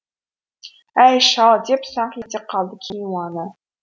әй шал деп саңқ ете қалды кейуана